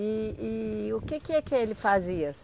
E e o que que é que ele fazia?